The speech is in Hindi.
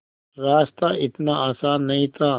रास्ता इतना आसान नहीं था